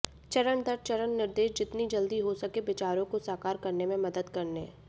चरण दर चरण निर्देश जितनी जल्दी हो सके विचारों को साकार करने में मदद करने